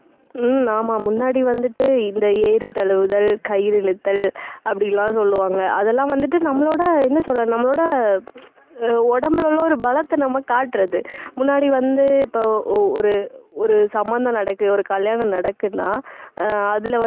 இந்த ஏறுதழுவுதல், கயிறு இழுத்தல் அப்படியெல்லாம் சொல்லுவாங்க. அதெல்லாம் வந்துட்டு நம்மளோட என்ன சொல்றது? நம்மளோட உம் உடம்புல உள்ள ஒரு பலத்தை நம்ம காட்டுறது. முன்னாடி வந்து இப்போ ஒரு ஒரு சம்பந்தம் நடக்குது ஒரு கல்யாணம் நடக்குதுன்னா அஹ் அதிலே